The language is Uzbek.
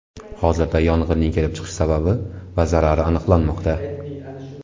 Hozirda yong‘inning kelib chiqish sababi va zarari aniqlanmoqda.